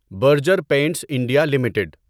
Berger Paints India limited